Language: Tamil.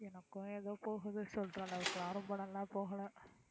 எனக்கும் ஏதோ போகுது சொல்ற அளவுக்குலாம் ரொம்ப நல்லா போகலை